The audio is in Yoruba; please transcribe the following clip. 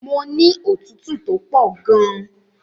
Mo ní òtútù tó pọ̀ gan.